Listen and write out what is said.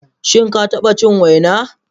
Shin ka taɓa cin waina?